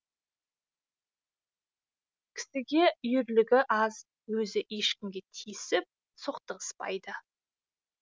кісіге үйірлігі аз өзі ешкімге тиісіп соқтығыспайды